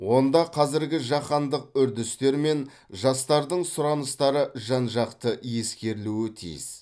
онда қазіргі жаһандық үрдістер мен жастардың сұраныстары жан жақты ескерілуі тиіс